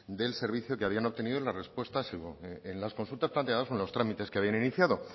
del servicio que habían obtenido en las consultas planteadas o en los trámites que habían iniciado